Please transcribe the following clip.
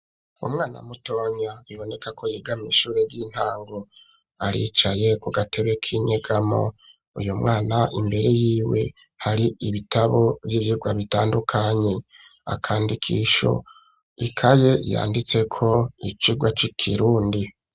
Umwana mutonya biboneka ko yiga mw'ishure y'intango ,aricaye ku gatebe k'inyegamo, uyu mwana imbere y'iwe hari ibitabo vy'ivyigwa bitandukanye, akandikisho ,ikaye yanditse ko icigwa c'ikirundi.